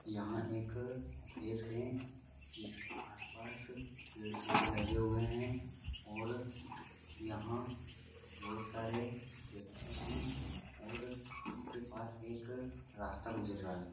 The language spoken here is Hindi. यहाँ एक खेत है जिसके आस पास पेड़ पौधे लगे हुए है और यहाँ बहुत सारे व्यक्ति है और जिसके पास एक रास्ता गुजर रहा है।